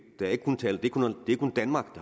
er ikke kun danmark